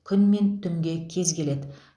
күн мен түнге кез келеді